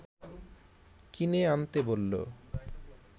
কিনে আনতে বলল